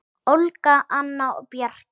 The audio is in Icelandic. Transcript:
Olga, Anna og Bjarki.